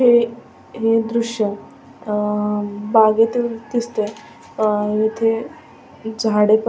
हे हे दृश्य अ अ बागेतील दिसतय अ अ इथे झाडे पण --